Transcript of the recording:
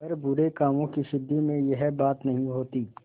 पर बुरे कामों की सिद्धि में यह बात नहीं होती